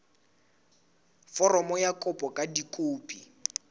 foromo ya kopo ka dikopi